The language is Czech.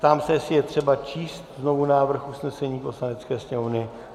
Ptám se, jestli je třeba číst znovu návrh usnesení Poslanecké sněmovny.